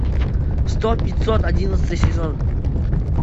сто пятьсот одиннадцатый сезон